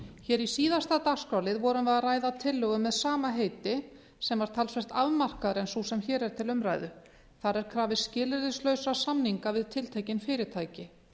hér í síðasta dagskrárlið vorum við að ræða tillögu með sama heiti sem var talsvert afmarkaðra en sú sem hér er til umræðu þar er krafist skilyrðislausra samninga við tiltekin fyrirtæki